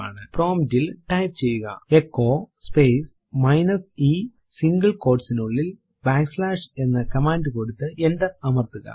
prompt ൽ type ചെയ്യുകT echo space minus e single quot നുള്ളിൽ ബാക്ക് സ്ലാഷ് എന്ന കമാൻഡ് കൊടുത്തു എന്റർ അമർത്തുക